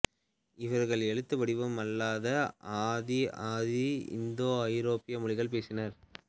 இவர்கள் எழுத்து வடிவம் இல்லாத ஆதி ஆதி இந்தோ ஐரோப்பிய மொழிகளை பேசினர்